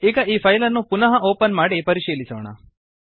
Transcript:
ಈಗ ಈ ಫೈಲ್ ಅನ್ನು ಪುನಃ ಓಪನ್ ಮಾಡಿ ಪರಿಶೀಲಿಸೋಣ